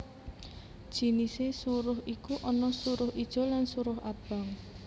Jinisé suruh iku ana suruh ijo lan suruh abang